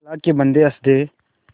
अल्लाह के बन्दे हंस दे